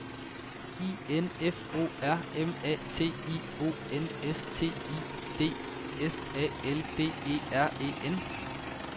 I N F O R M A T I O N S T I D S A L D E R E N